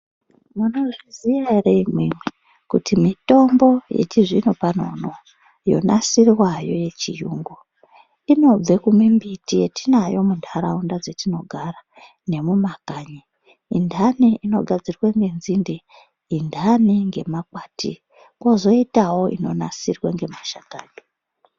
Munozviziya ere imwimwi kuti mitombo yechizvinopano unoyu yonasirwayo yechiyungu inobve kumimbiti yetinayo munharaunda dzetinogara nemumakanyi inhani inogadzirwe ngenzinde, inhani ngemakwati pozoitawo inansirwe ngemashakani.